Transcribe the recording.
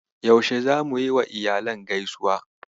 Yaushe zamu yiwa iyalan gaisuwa?